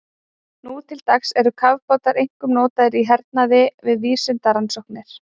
Nú til dags eru kafbátar einkum notaðir í hernaði og við vísindarannsóknir.